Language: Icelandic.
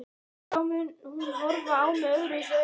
Og þá mun hún horfa á mig öðruvísi augum.